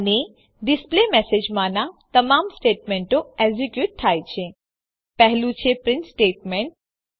અને ડિસ્પ્લેમેસેજ માનાં તમામ સ્ટેટમેંટો એક્ઝેક્યુટ થાય છે પહેલું છે પ્રીંટ સ્ટેટમેંટ